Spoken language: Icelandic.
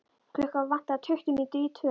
Klukkuna vantaði tuttugu mínútur í tvö.